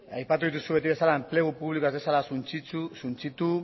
aipatu dituzu beti bezala enplegu publikoa ez dezala suntsitu